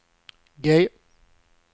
G